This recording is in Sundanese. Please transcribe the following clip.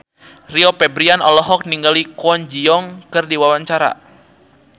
Rio Febrian olohok ningali Kwon Ji Yong keur diwawancara